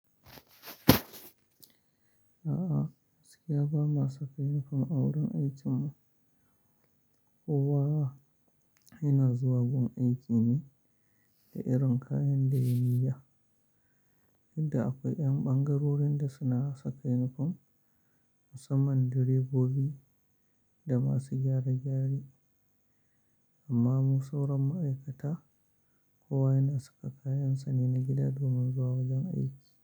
A'a, gaskiya ba ma saka yunifom a wurin aikin mu. Kowa yana zuwa gun aiki ne da irin kayan da ya yi da. Inda akwai ƴan ɓangarorin da suna saka yunifom, musamman direbobi da masu gyare gyare. Amma mu sauran ma'aikata, kowa yana saka kayan sa ne na gida domin zuwa wajen aiki.